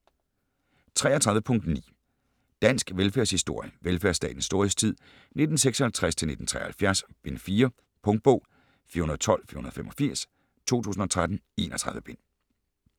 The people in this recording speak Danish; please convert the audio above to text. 33.9 Dansk velfærdshistorie: Velfærdsstatens storhedstid: 1956-1973: Bind 4 Punktbog 412485 2013. 31 bind.